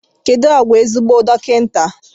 Kedu àgwà ezigbo dọkịta?